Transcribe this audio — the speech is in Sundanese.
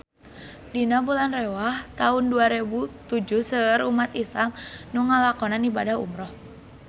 Dina bulan Rewah taun dua rebu tujuh seueur umat islam nu ngalakonan ibadah umrah